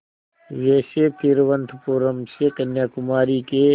वैसे तिरुवनंतपुरम से कन्याकुमारी के